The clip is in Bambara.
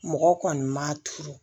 Mɔgɔ kɔni ma turu